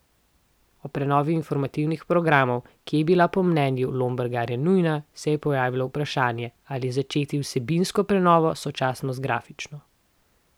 Ob prenovi informativnih programov, ki je bila po mnenju Lombergarja nujna, se je pojavilo vprašanje, ali začeti z vsebinsko prenovo sočasno z grafično.